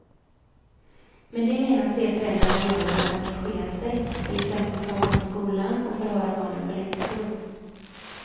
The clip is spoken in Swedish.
Med det menas det föräldrarna gör för att engagera sig, till exempel prata om skolan och förhöra barnen på läxor.